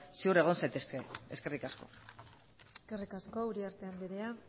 ziur egon zaitezkete eskerrik asko eskerrik asko uriarte anderea